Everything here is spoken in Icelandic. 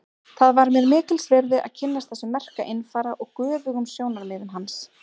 Það var mér mikils virði að kynnast þessum merka einfara og göfugum sjónarmiðum hans.